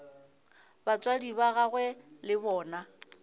batswadi ba gagwe le bona